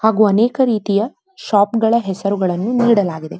ಹಾಗು ಅನೇಕ ರೀತಿಯ ಶಾಪ್ ಗಳ ಹೆಸರನ್ನು ನೀಡಲಾಗಿದೆ.